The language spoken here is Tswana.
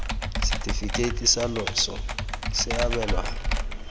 setefikeiti sa loso se abelwa